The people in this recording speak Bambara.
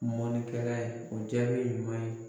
Mɔnikɛla ye o jaabi ye ɲuman ye.